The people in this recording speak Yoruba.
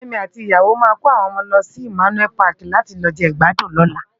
Femi àti iyàwó è má kó áwòn òmò wòn lòsi Immanuel Pàki làti lò je igbàdún lòlá